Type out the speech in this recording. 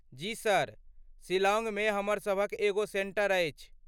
जी sir, शिलांगमे हमर सभक एगो सेंटर अछि।